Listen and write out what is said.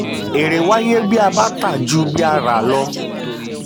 èrè wáyé tí a bá tà ju bí a rà lọ.